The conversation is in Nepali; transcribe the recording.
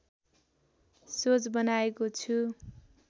सोच बनाएको छु